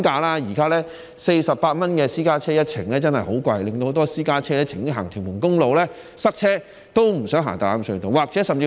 現時私家車每程收費48元，的確十分昂貴，很多私家車寧願在屯門公路塞車也不想用大欖隧道。